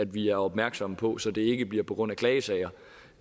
vi er opmærksomme på så det ikke bliver på grund af klagesager